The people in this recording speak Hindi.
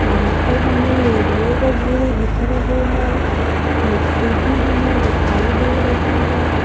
यहां पर हमें रेडियो वगैरे दिख रहे है मिक्सी भी हमें दिखाई दे रही है।